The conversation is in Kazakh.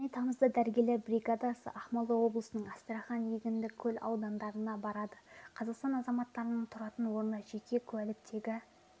және тамызда дәрігерлер бригадасы ақмола облысының астрахань егіндікөл аудандарына барады қазақстан азаматтарының тұратын орны жеке куәліктегі